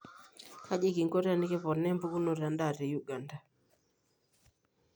Kaji kinko tenekiponaa empukunoto endaa te Uganda?